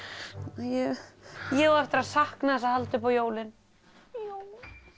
ég ég á eftir að sakna þess að halda upp á jólin já